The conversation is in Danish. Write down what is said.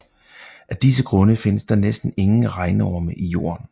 Af disse grunde findes der næsten ingen regnorme i jorden